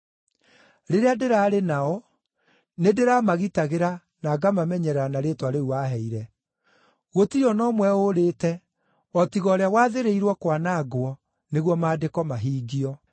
Rĩrĩa ndĩraarĩ nao, nĩndĩramagitagĩra na ngamamenyerera na rĩĩtwa rĩu waheire. Gũtirĩ o na ũmwe ũũrĩte o tiga ũrĩa wathĩrĩirwo kwanangwo nĩguo Maandĩko mahingio.